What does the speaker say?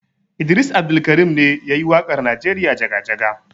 Idris Abdulkarim ne ya yi waƙar Najeriya jaga-jaga.